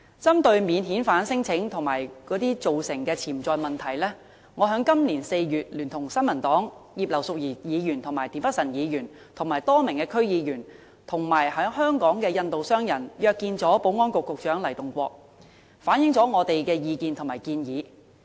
針對免遣返聲請及其造成的潛在問題，我在今年4月聯同新民黨葉劉淑儀議員、田北辰議員、多名區議員和在港的印度商人約見保安局局長黎棟國，反映我們的意見和建議。